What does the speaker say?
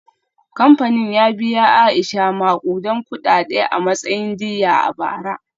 Kamfanin ya biya Aisha makudan kudade a matsayin diyya a bara.